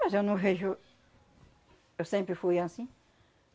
Mas eu não vejo... Eu sempre fui assim.